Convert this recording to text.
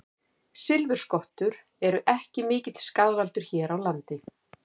Silfurskottur eru ekki mikill skaðvaldur hér á landi.